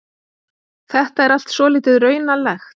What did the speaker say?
Þetta er allt svolítið raunalegt.